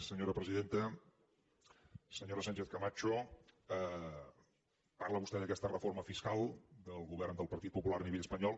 senyora sánchez cama cho parla vostè d’aquesta reforma fiscal del govern del partit popular a nivell espanyol